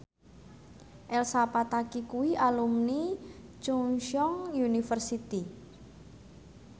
Elsa Pataky kuwi alumni Chungceong University